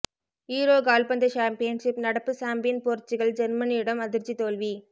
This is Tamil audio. யூரோ கால்பந்து சாம்பியன்ஷிப் நடப்பு சாம்பியன் போர்ச்சுகல் ஜெர்மனியிடம் அதிர்ச்சி தோல்வி